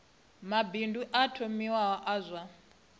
mabindu o thomiwaho a zwa